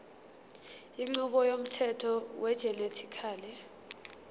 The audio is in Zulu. inqubo yomthetho wegenetically